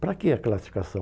Para que a classificação?